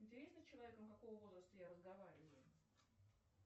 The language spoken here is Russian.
интересно с человеком какого возраста я разговариваю